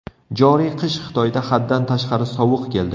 Joriy qish Xitoyda haddan tashqari sovuq keldi.